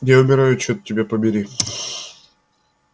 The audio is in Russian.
я умираю чёрт тебя побери